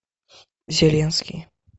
зеленский